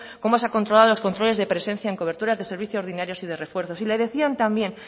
cómo se ha controlado los controles de presencia en cobertura de servicio ordinarios y de refuerzos y le decían también